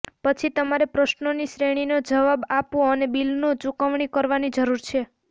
પછી તમારે પ્રશ્નોની શ્રેણીનો જવાબ આપવો અને બિલનો ચૂકવણી કરવાની જરૂર છે